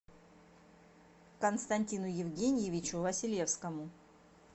константину евгеньевичу василевскому